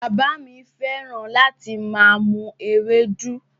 Bàbá mi fẹ́ràn láti máa mu Ewédú